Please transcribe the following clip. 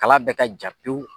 Kala bɛɛ ka ja pewu.